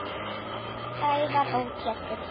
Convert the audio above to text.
Sævar og Pétur.